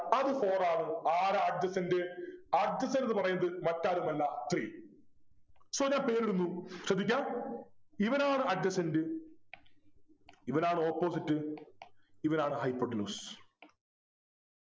അത് four ആണ് ആരാ Adjacent Adjacent ന്നു പറയുന്നത് മറ്റാരുമല്ല three so ഞാൻ പേരിടുന്നു ശ്രദ്ധിക്കാ ഇവനാണ് Adjacent ഇവനാണ് opposite ഇവനാണ് hypotenuse